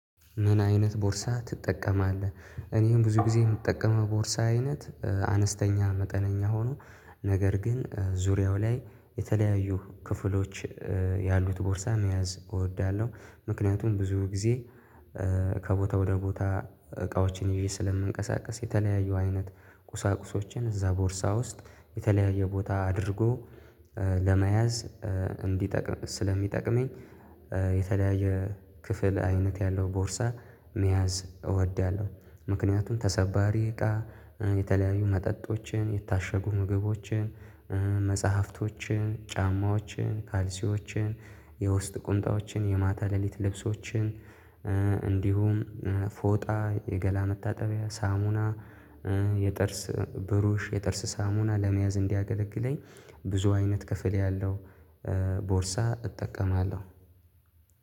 ምን አይነት ቦርሳ ትጠቀማለህ? እኔም ብዙ ጊዜ የምጠቀመው ቦርሳ አይነት አነስተኛ መጠነኛ ሆኖ ነገር ግን ዙሪያው ላይ የተለያዩ ክፍሎች ያሉት ቦርሳ መያዝ እወዳለሁ። ምክንያቱም ብዙ ጊዜ ከቦታ ወደ ቦታ እቃዎችን ይዤ ስለምንቀሳቀስ የተለያዩ አይነት ቁሳቁሶችን እዛ ቦርሳ ውስጥ የተለያየ ቦታ አድርጎ ለመያዝ እንዲጠቅም ስለሚጠቅመኝ። የተለያየ ክፍል አይነት ያለው ቦርሳ መያዝ እወዳለሁ። ምክንያቱም ተሰባሪ እቃ የተለያዩ መጠጦችን የታሸጉ ምግቦችን መጽሐፍቶችን ጫማዎችን ካልሲዎችን የውስጥ ቁንጣዎችን የማታ ሌሊት ልብሶችን እንዲሁም ፎጣ የገላ መታጠቢያ ሳሙና የጥርስ ብሩሽ የጥርስ ሳሙና ለመያዝ እንዲያገለግለኝ ብዙ አይነት ክፍል ያለው። ቦርሳ እጠቀማለሁ